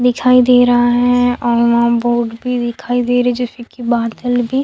दिखाई दे रहा है और बोर्ड भी दिखाई दे रहा हैं जैसे की बादल भी--